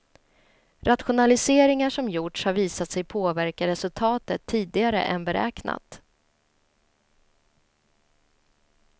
Rationaliseringar som gjorts har visat sig påverka resultatet tidigare än beräknat.